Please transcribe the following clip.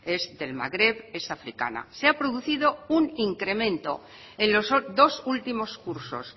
es del magreb es africana se ha producido un incremento en los dos últimos cursos